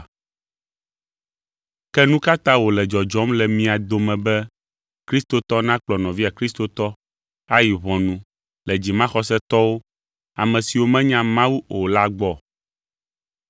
Ke nu ka ta wòle dzɔdzɔm le mia dome be kristotɔ nakplɔ nɔvia kristotɔ ayi ʋɔnu le dzimaxɔsetɔwo, ame siwo menya Mawu o la gbɔ?